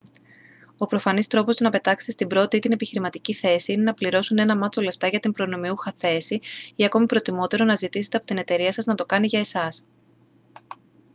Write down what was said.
ο προφανής τρόπος να πετάξετε στην πρώτη ή την επιχειρηματική θέση είναι να πληρώσουν ένα μάτσο λεφτά για την προνομιούχα θέση ή ακόμα προτιμότερο να ζητήστε από την εταιρεία σας να το κάνει για εσάς